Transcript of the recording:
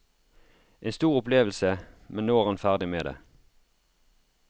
En stor opplevelse, men nå er han ferdig med det.